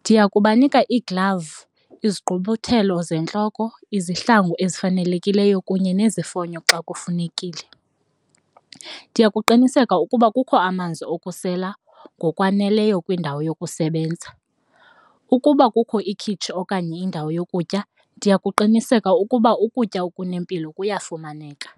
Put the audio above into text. Ndiya kubanika ii-gloves izigqumfuthelo zentloko, izihlangu ezifanelekileyo kunye nezifonyo xa kufunekile. Ndiya kuqinisekisa ukuba kukho amanzi okusela ngokwaneleyo kwindawo yokusebenza. Ukuba kukho ikhitshi okanye indawo yokutya, ndiyakuqinisekisa ukuba ukutya okunempilo buyafumaneka.